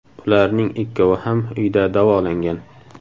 Ularning ikkovi ham uyda davolangan.